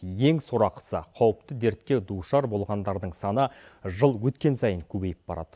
ең сорақысы қауіпті дертке душар болғандардың саны жыл өткен сайын көбейіп барады